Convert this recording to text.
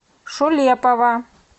шулепова